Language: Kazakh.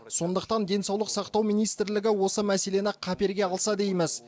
сондықтан денсаулық сақтау министрлігі осы мәселені қаперге алса дейміз